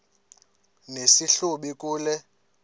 nesi hlubi kule